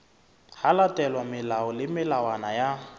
latelwa melao le melawana ya